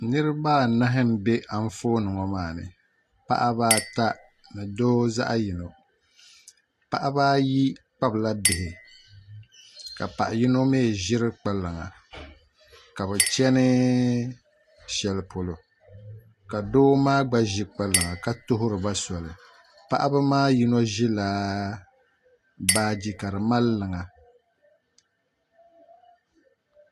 Niraba anahi n bɛ Anfooni ŋɔ maa ni paɣaba ata ni doo zaɣ yino paɣaba ayi kpabila bihi ka paɣa yino mii ʒiri kpalaŋa ka bi chɛni shɛli polo ka doo maa gba ʒi kpalaŋa ka tuhuriba soli paɣaba maa yino ʒila baaji ka di mali liŋa